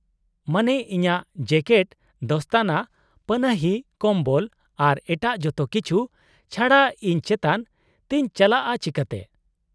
-ᱢᱟᱱᱮ, ᱤᱧᱟᱹᱜ ᱡᱮᱠᱮᱴ, ᱫᱚᱥᱛᱚᱱᱟ, ᱯᱟᱱᱟᱦᱤ, ᱠᱚᱢᱵᱚᱞ ᱟᱨ ᱮᱴᱟᱜ ᱡᱚᱛᱚ ᱠᱤᱪᱷᱩ ᱪᱷᱟᱰᱟ, ᱤᱧ ᱪᱮᱛᱟᱱ ᱛᱮᱧ ᱪᱟᱞᱟᱜᱼᱟ ᱪᱤᱠᱟᱹᱛᱮ ?